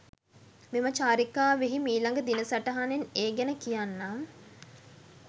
මෙම චාරිකාවෙහි මීළඟ දින සටහනෙන් ඒ ගැන කියන්නම් .